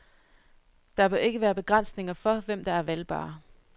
Der bør ikke være begrænsninger for, hvem der er valgbare.